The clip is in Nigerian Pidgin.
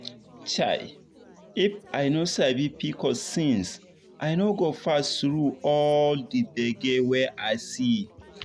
chai! if i don sabi pcos since i no for pass through all the gbege wey i see.